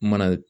Mana